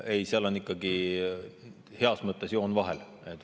Ei, seal on ikkagi heas mõttes joon vahel.